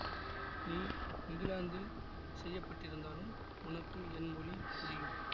நீ இங்கிலாந்தில் செய்ய பட்டிருந்தாலும் உனக்கு என் மொழி புரியும்